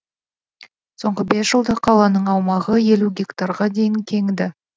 соңғы бес жылда қаланың аумағы елу гектарға дейін кеңіді